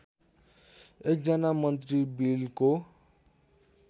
एकजना मन्त्री बिलको